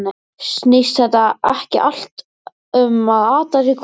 Snýst þetta ekki allt um að atast í hvor öðrum?